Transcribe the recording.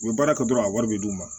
U bɛ baara kɛ dɔrɔn a wari bɛ d' u ma